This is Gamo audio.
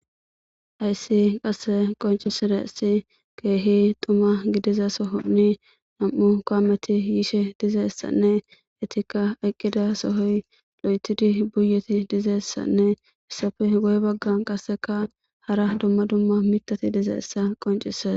hayssi qasse qonciside isi keehi dumma gidiza sohonni nam7u koameti yiishe dizessanne etikka eqqida sohoy lo7etidi buyeti dizeessanne essafe goy bagga qasseka hara dumma dumma mitati dizeessa qoncises.